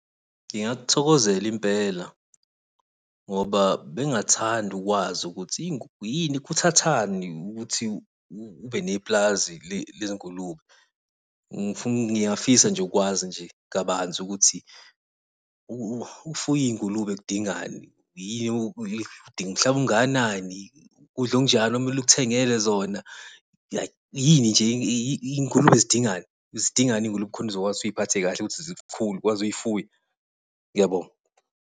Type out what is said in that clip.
Ngingakuthokozela impela, ngoba bengathanda ukwazi ukuthi yini kuthathani ukuthi ubene nepulazi lezi ngulube. Ngiyafisa nje ukwazi nje kabanzi ukuthi ukufuya iy'ngulube kudingani? udinga umhlaba ongakanani, ukudla okunjani okumele ukuthengele zona, yini nje iy'gulube zidingani? Zidingani iy'ngulube khona uzokwazi ukuthi uy'phathe kahle, ukuthi ukufuya. Ngiyabonga.